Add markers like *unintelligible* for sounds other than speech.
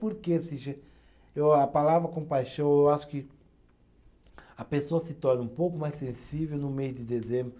Porque *unintelligible* eu a palavra compaixão, eu acho que a pessoa se torna um pouco mais sensível no mês de dezembro,